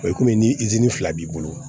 O ye komi ni fila b'i bolo